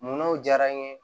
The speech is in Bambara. Munnaw diyara n ye